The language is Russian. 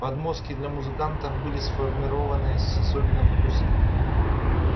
подмостки для музыкантов были сформированы с особенным вкусом